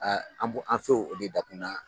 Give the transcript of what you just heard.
Aa an filɛ an b'o de dakun na